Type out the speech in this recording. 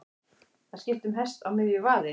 Að skipta um hest á miðju vaði